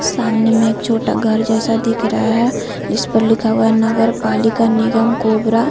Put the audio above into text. सामने में एक छोटा घर जैसा दिख रहा है इस पर लिखा हुआ नगर पालिका निगम कोबरा--